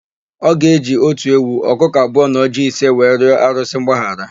Ọ ga-eji otu ewu, ọkụkọ abụọ na ọjịị ise wee rịọ arụsị mgbaghara.